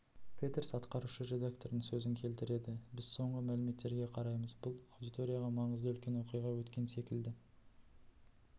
петерс атқарушы редакторының сөзін келтіреді біз соңғы мәліметтерге қараймыз бұл аудиторияға маңызды үлкен оқиға өткен секілді